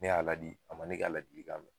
Ne y'a la di a ma ne k'a ladilikan mɛn